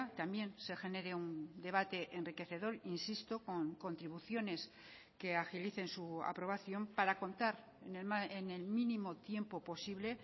también se genere un debate enriquecedor insisto con contribuciones que agilicen su aprobación para contar en el mínimo tiempo posible